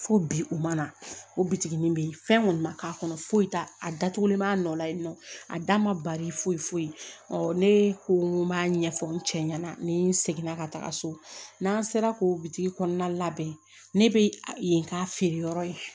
Fo bi u mana o bitiginin be yen fɛn kɔni ma k'a kɔnɔ foyi t'a la a datugulen b'a nɔ la ye nɔ a da ma bali foyi foyi b'a ɲɛfɔ n cɛ ɲɛna ni seginna ka taga so n'an sera k'o bitigi kɔnɔna labɛn ne bɛ yen k'a feere yɔrɔ ye